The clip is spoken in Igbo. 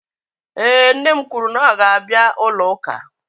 Ee, nne m kwuru na ọ ga-abịa ụlọ ụka